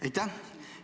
Aitäh!